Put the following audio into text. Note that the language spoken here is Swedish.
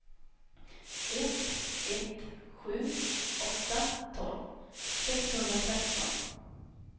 ett ett sju åtta tolv sexhundratretton